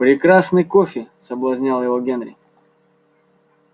прекрасный кофе соблазнял его генри